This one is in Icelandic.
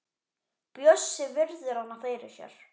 Bjössi virðir hana fyrir sér.